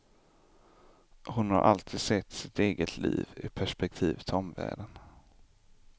Hon har alltid sett sitt eget liv i perspektiv till omvärlden.